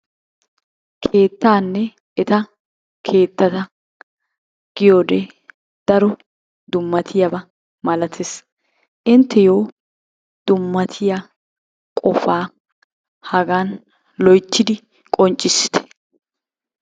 Keettanne eta keettata giyoode daro dummatiyaaba malatees. Inttiyo dummatiya qpoa hagan loyttidi qonccissite.